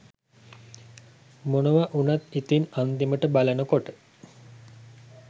මොනව උනත් ඉතිං අන්තිමට බලනකොට